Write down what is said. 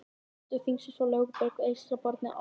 Miðstöð þingsins var Lögberg á eystra barmi Almannagjár.